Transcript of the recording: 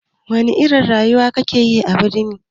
Wana irin rayuwa ake a birni?